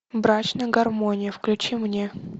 брачная гармония включи мне